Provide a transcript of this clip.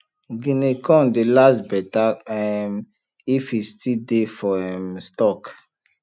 guinea corn dey last better um if e still dey for um stalk